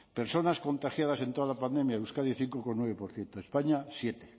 personas contagiadas en toda la pandemia euskadi cinco coma nueve por ciento españa siete